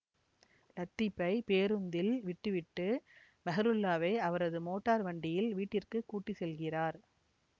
லத்தீபை பேருந்தில் விட்டுவிட்டு மெஹ்ருல்லாவை அவரது மோட்டார் வண்டியில் வீட்டிற்குக் கூட்டி செல்கிறார்